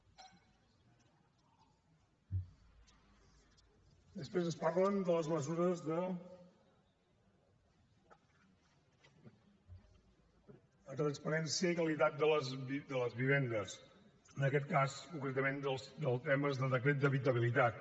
després ens parlen de les mesures de transparència i qualitat de les vivendes en aquest cas concretament dels temes del decret d’habitabilitat